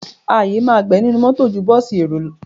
Àyè ma gbà ẹ nínú mọ́tọ̀ ẹ ju bọ́ọ̀sì èrò.